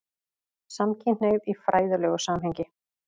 SAMKYNHNEIGÐ Í FRÆÐILEGU SAMHENGI